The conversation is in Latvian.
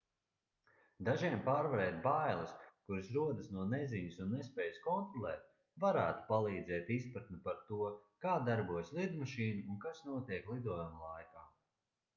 dažiem pārvarēt bailes kuras rodas no neziņas un nespējas kontrolēt varētu palīdzēt izpratne par to kā darbojas lidmašīna un kas notiek lidojuma laikā